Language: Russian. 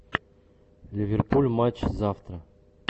ливерпуль матч завтра